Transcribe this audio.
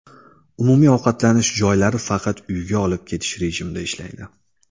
Umumiy ovqatlanish joylari faqat uyga olib ketish rejimida ishlaydi.